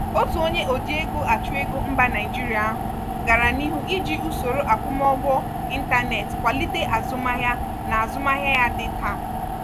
otu onye oji ego achụ ego mba naijeria ahụ gara n'ihu iji usoro akwụmụgwọ ịntanetị kwalite azụmahịa n'azumahia ya dị nta.